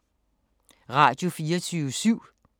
Radio24syv